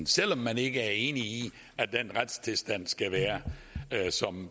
selv om man ikke er enig i at den retstilstand skal være